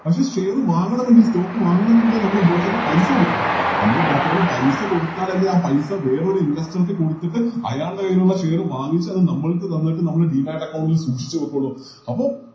പക്ഷെ Share വാങ്ങണമെങ്കിൽ Stock വാങ്ങണമെങ്കിലെ നമ്മള് Broker ന് പൈസ കൊടുക്കണ്ടെ നമ്മള് Broker ന് പൈസ കൊടുത്താലല്ലേ ആ പൈസ വേറൊര് Investor ക്ക് കൊടുത്തിട്ട് അയാളുടെ കൈയിലുള്ള Share വാങ്ങിച്ച് അത് നമ്മൾക്ക് തന്നിട്ട് നമ്മൾ Demat account ൽ സൂക്ഷിച്ച് വെക്കുള്ളു അപ്പോൾ